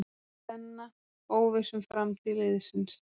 Senna óviss um framtíð liðsins